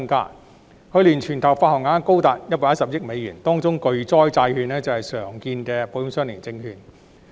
去年，保險相連證券的全球發行額高達110億美元，當中巨災債券是常見的保險相連證券。